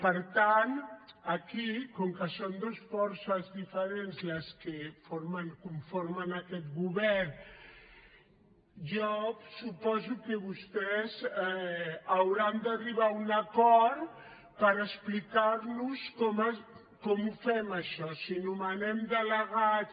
per tant aquí com que són dues forces diferents les que conformen aquest govern jo suposo que vostès hauran d’arribar a un acord per explicar nos com ho fem això si nomenem delegats